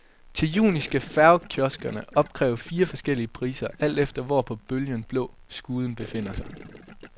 Til juni skal færgekioskerne opkræve fire forskellige priser, alt efter hvor på bølgen blå skuden befinder sig.